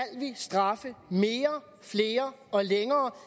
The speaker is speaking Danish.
straffe mere flere og længere